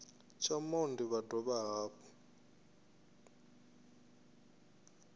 tsha monde vha dovha hafhu